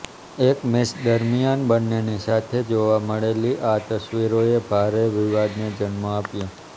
એક મેચ દરમિયાન બંનેની સાથે જોવા મળેલી આ તસવીરોએ ભારે વિવાદને જન્મ આપ્યો